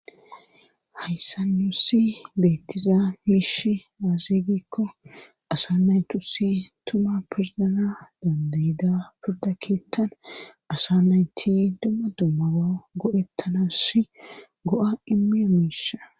Hayssa nussi beettiza miish aazigikko asa nay tusi tuma pirzana dandayda pirda keettan asa naynti dumma dummawa godettanass go'a imiya miisha.